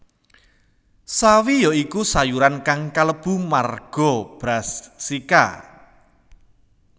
Sawi ya iku sayuran kang kalebu marga Brassica